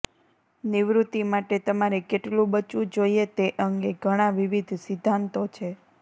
નિવૃત્તિ માટે તમારે કેટલું બચવું જોઈએ તે અંગે ઘણાં વિવિધ સિદ્ધાંતો છે